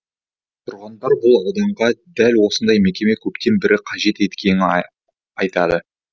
тұрғындар бұл ауданға дәл осындай мекеме көптен бері қажет екенін айтады